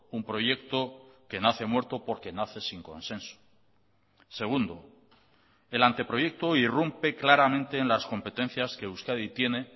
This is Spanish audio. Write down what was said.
un proyecto que nace muerto porque nace sin consenso segundo el anteproyecto irrumpe claramente en las competencias que euskadi tiene